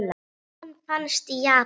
Hann finnst í Japan.